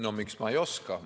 No miks ma ei oska!